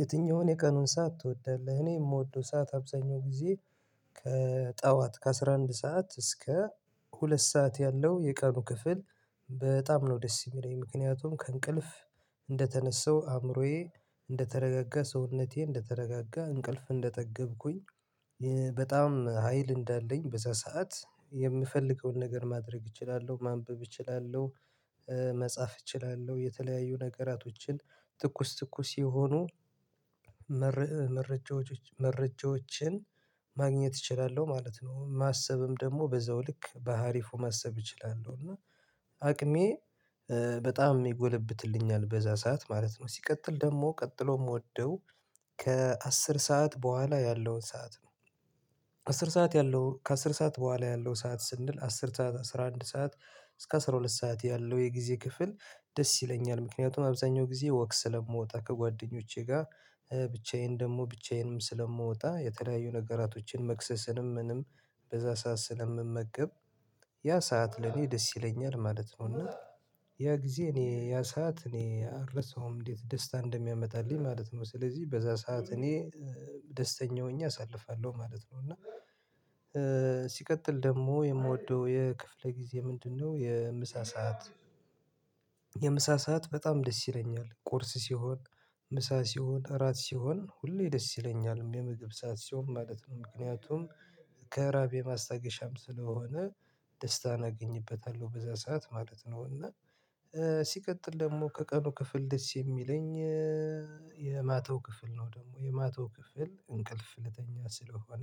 የትኛውን የቀኑን ሰዓት ትወዳለህ? እኔ የምወደው ሰዓት አብዛኛውን ጊዜ ከጠዋት ከአሥራ አንድ ሰዓት እስከ ሁለት ሰዓት ያለው የቀኑ ክፍል በጣም ነው ደስ የሚለኝ ምክንያቱም ከእንቅልፍ እንደተነሳው አእምሮዬ እንደተረጋጋ ሰውነቴ እንደተረጋጋ እንቅልፍ እንደጠገብኩኝ በጣም ሀይል እንዳለኝ በዛ ሰዓት የምፈልገውን ነገር ማድረግ እችላለሁ ማንበብ እችላለሁ መጻፍ እችላለሁ የተለያዩ ነገራቶችን ትኩስ ትኩስ የሆኑ መረጃዎችን ማግኘት እችላለሁ ማለት ነው ማሰብም ደግሞ በዛው ልክ ባአሪፉ ማሰብ እችላለሁ እና አቅሜ በጣም ይጎለብትልኛል በዛ ሰዓት ማለት ነው። ሲቀጥል ደግሞ ቀጥሎ የምወደው ከአስር ሰዓት በኋላ ያለውን ሰዓት ነው። አስር ሰዓት ያለው ከአስር ሰዓት በኋላ ያለው ሰዓት ስንል አስር ሰዓት አስራ አንድ ሰዓት እስከ አስራ ሁለት ሰዓት ያለው የጊዜ ክፍል ደስ ይለኛል። ምክንያቱም አብዛኛው ጊዜ ወክ ስለምወጣ ከጓደኞቼ ጋር ደግሞ ብቻዬንም ስለምወጣ የተለያዩ ነገራቶችን መክሰስንም ምንም በዛ ሰዓት ስለምመቅብ ያ ሰዓት ለኔ ደስ ይለኛል ማለት ነው። እና ያ ጊዜ እኔ ያ ሰዓት እኔ አልረሳውም እንዴት ደስታ እንደሚያመጣልኝ ማለት ነው። ስለዚህ በዛ ሰዓት እኔ ደስተኛ ሆኜ አሳልፋለሁ ማለት ነው። እና ሲቀጥል ደግሞ የምወደው የክፍለ ጊዜ ምንድነው? የምሳ ሰዓት የምሳ ሰዓት በጣም ደስ ይለኛል ቁርስ ሲሆን ምሳ ሲሆን እራት ሲሆን ሁሌ ደስ ይለኛል የምግብ ሰዓት ሲሆን ማለት ነው። ምክንያቱም ከእራቤ ማስታገሻም ስለሆነ ደስታን አገኝበታለሁ በዛ ሰዓት ማለት ነው። እና ሲቀጥል ደግሞ ከቀኑ ክፍል ደስ የሚለኝ የማታው ክፍል ነው። ደግሞ የማታው ክፍል እንቅልፍ ልተኛ ስለሆነ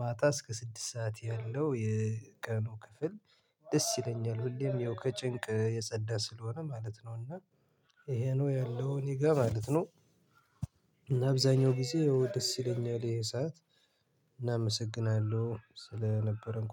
ማጣ እስከ ስድስት ሰዓት ያለው የቀኑ ክፍል ደስ ይለኛል ሁሌም ይኸው ከጭንቅ የጸዳ ስለሆነ ማለት ነው። እና ይሄ ነው ያለው እኔ ጋር ማለት ነው። እና አብዛኛው ጊዜ የውድስት ሲለኝ የለም ሰዓት እናመሰግናለሁ ስለነበረን ቆየን